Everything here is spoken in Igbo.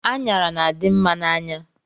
Anyara na-adimma n'anya